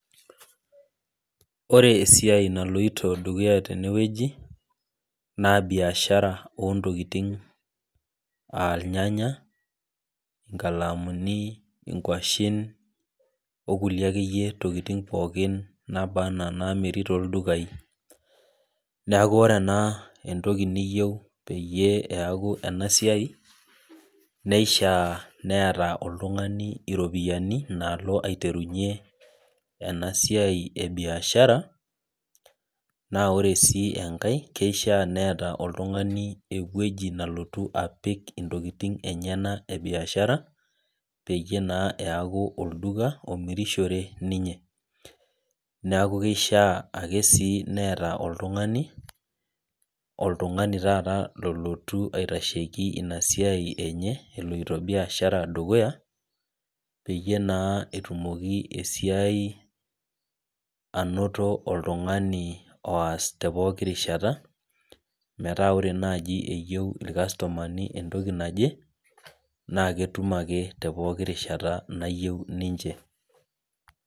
Ore esiai naloito dukuya tenewueji, na biashara ontokiting ah irnyanya, inkalamuni, inkwashen, okulie akeyie tokiting pookin naba enaa namiri toldukai. Neeku ore ena entoki niyieu peyie eeku enasiai, neishaa neeta oltung'ani iropiyiani nalo aiterunye enasiai ebiashara, na ore si enkae keishaa neeta oltung'ani ewueji nalotu apik intokiting enyanak ebiashara, peyie naa eeku olduka omirishore ninye. Neeku kishaa ake si neeta oltung'ani, oltung'ani taata lolotu aitasheki inasiai enye eloito biashara dukuya, peyie naa etumoki esiai anoto oltung'ani oas tepooki rishata, metaa ore nai eyieu irkastomani entoki naje, na ketum ake tepooki rishata nayieu ninche.